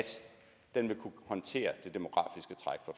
den vil kunne håndtere